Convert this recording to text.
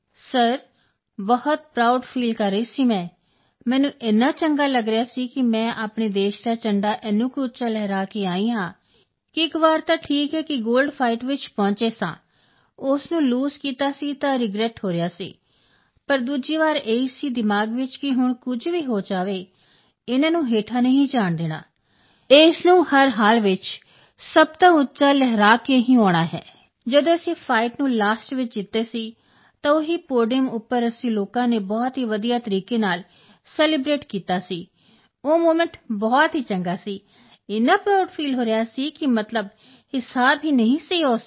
sir ਬਹੁਤ proud feel ਕਰ ਰਹੀ ਸੀ ਮੈਂ ਮੈਨੂੰ ਇੰਨਾ ਚੰਗਾ ਲੱਗ ਰਿਹਾ ਸੀ ਕਿ ਮੈਂ ਆਪਣੇ ਦੇਸ਼ ਦਾ ਝੰਡਾ ਇੰਨਾ ਕੁ ਉੱਚਾ ਲਹਿਰਾ ਕੇ ਆਈ ਹਾਂ ਕਿ ਇੱਕ ਵਾਰ ਤਾਂ ਠੀਕ ਹੈ ਕਿ ਗੋਲਡ ਫਾਈਟ ਚ ਪਹੁੰਚੇ ਸਾਂ ਉਸ ਨੂੰ ਲੂਜ਼ ਕੀਤਾ ਸੀ ਤਾਂ ਰਿਗਰੈੱਟ ਹੋ ਰਿਹਾ ਸੀ ਪਰ ਦੂਜੀ ਵਾਰ ਇਹੀ ਸੀ ਦਿਮਾਗ ਵਿੱਚ ਕਿ ਹੁਣ ਕੁਝ ਵੀ ਹੋ ਜਾਵੇ ਇਸ ਨੂੰ ਹੇਠਾਂ ਨਹੀਂ ਜਾਣ ਦੇਣਾ ਇਸ ਨੂੰ ਹਰ ਹਾਲ ਚ ਸਭ ਤੋਂ ਉੱਚਾ ਲਹਿਰਾ ਕੇ ਹੀ ਆਉਣਾ ਹੈ ਜਦੋਂ ਅਸੀਂ ਫਾਈਟ ਨੂੰ ਲਾਸਟ ਵਿੱਚ ਜਿੱਤੇ ਸੀ ਤਾਂ ਉਹੀ ਪੋਡੀਅਮ ਉੱਪਰ ਅਸੀਂ ਲੋਕਾਂ ਨੇ ਬਹੁਤ ਵਧੀਆ ਤਰੀਕੇ ਨਾਲ ਸੈਲੀਬ੍ਰੇਟ ਕੀਤਾ ਸੀ ਉਹ ਮੋਮੈਂਟ ਬਹੁਤ ਚੰਗਾ ਸੀ ਇੰਨਾ ਪ੍ਰਾਊਡ ਫੀਲ ਹੋ ਰਿਹਾ ਸੀ ਕਿ ਮਤਲਬ ਹਿਸਾਬ ਨਹੀਂ ਸੀ ਉਸ ਦਾ